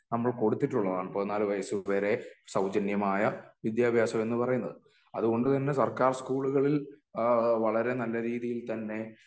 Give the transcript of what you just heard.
നമ്മൾ കൊടുത്തിട്ടുള്ളതാണ് പതിനാല് വയസ്സ് വരെ സൗജന്യമായ വിദ്യാഭ്യാസം എന്ന് പറയുന്നത് അതുകൊണ്ട് തന്നെ സർക്കാർ സ്കൂളുകളിൽ അഹ് വളരേ നല്ല രീതിയിൽ തന്നെ